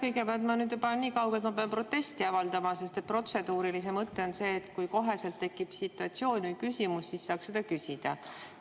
Kõigepealt, ma olen nüüd juba nii kaugel, et ma pean protesti avaldama, sest protseduurilise mõte on see, et kui tekib situatsioon ja küsimus, siis saab kohe küsida.